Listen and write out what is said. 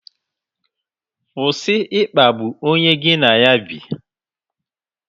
Kwụsị ịkpagbu onye gị na ya bi.